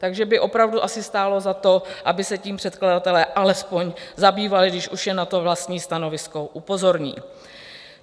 Takže by opravdu asi stálo za to, aby se tím předkladatelé alespoň zabývali, když už je na to vlastní stanovisko upozorní.